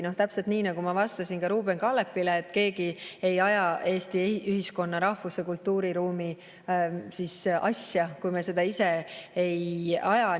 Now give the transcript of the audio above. Vastan täpselt nii, nagu ma vastasin ka Ruuben Kaalepile, et keegi ei aja Eesti ühiskonna, rahvuse ja kultuuriruumi asja, kui me seda ise ei aja.